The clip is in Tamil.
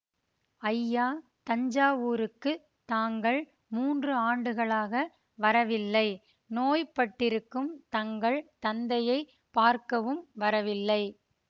ஐயா தஞ்சாவூருக்குத் தாங்கள் மூன்று ஆண்டுகளாக வரவில்லை நோய்ப்பட்டிருக்கும் தங்கள் தந்தையை பார்க்கவும் வரவில்லை